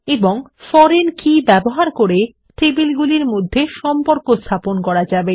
এবং foreign key ব্যবহার করে টেবিলগুলির মধ্যে সম্পর্ক স্থাপন করা যাবে